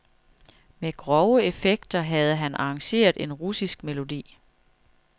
Med grove effekter havde han arrangeret en russisk melodi.